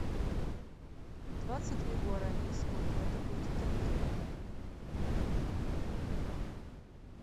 двадцать две гуарани сколько это будет в тенге